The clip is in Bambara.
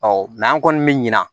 an kɔni mi ɲina